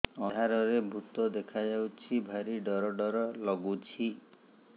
ଅନ୍ଧାରରେ ଭୂତ ଦେଖା ଯାଉଛି ଭାରି ଡର ଡର ଲଗୁଛି